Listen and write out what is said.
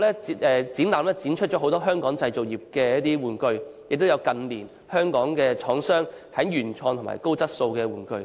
這個展覽展出了很多以往在香港製造的玩具，亦有近年香港廠商生產的原創及高質素的玩具。